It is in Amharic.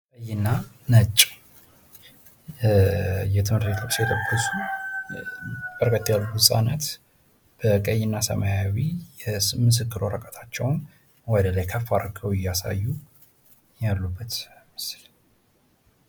ቀይና ነጭ የትምህርት ቤት ልብስ የለበሱ በርከት ያሉ ህጻናት በቀይ እና ሰማያዊ ምስክር ወረቀታቸውን ወደላይ ከፍ አድርገው እያሳዩ ያሉበት ምስል ።